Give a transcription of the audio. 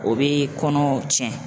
O bɛ kɔnɔw cɛn.